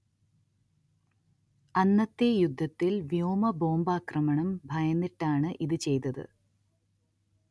അന്നത്തെ യുദ്ധത്തിൽ വ്യോമ ബോംബാക്രമണം ഭയന്നിട്ടാണ് ഇത് ചെയ്തത്